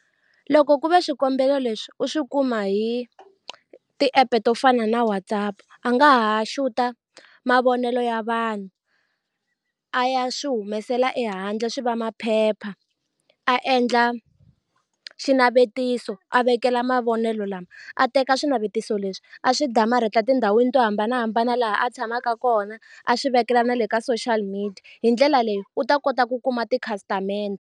Loko ku ve swikombelo leswi u swi kuma hi ti-app to fana na WhatsApp a nga ha xuta mavonelo ya vanhu a ya swi humesela ehandle swi va maphepha a endla xinavetiso a vekela mavonelo lama a teka swinavetiso leswi a swi damarhetiwa tindhawini to hambanahambana laha a tshamaka kona a swi vekela na le ka social media hi ndlela leyi u ta kota ku kuma tikhasitamende.